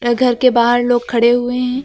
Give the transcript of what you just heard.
घर के बाहर लोग खड़े हुए हैं।